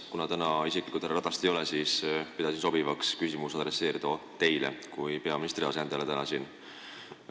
Kuna täna härra Ratast ei ole, siis pidasin sobivaks esitada küsimuse teile kui peaministri asendajale siin.